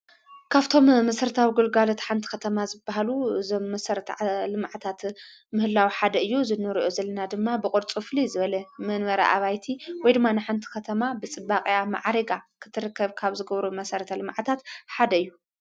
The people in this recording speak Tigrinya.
ካብቶም መሠርታዊ ጕልጓል ቲ ሓንቲ ኸተማ ዝበሃሉ ዘ ምሠርትዓ ልማዕታት ምህላዊ ሓደ እዩ ዝነርኦ ዘለና ድማ ብቖድጹ ፍል ዝበለ መንበረ ኣባይቲ ወይድማን ሓንቲ ኸተማ ብጽባቕያ መዓሪጋ ክትርከብ ካብ ዝገብሩ መሠረተ ልማዓዕታት ሓደ እዩ።